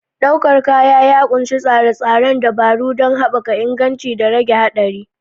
Ɗaukar kaya ya ƙunshi tsare-tsare dabaru don haɓaka inganci da rage haɗari.